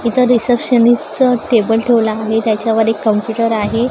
इथं रिसेप्शनिस्ट चं टेबल ठेवलं आहे त्याच्यावर एक कम्प्युटर आहे.